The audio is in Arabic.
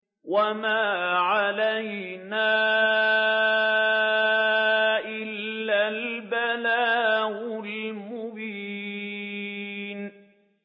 وَمَا عَلَيْنَا إِلَّا الْبَلَاغُ الْمُبِينُ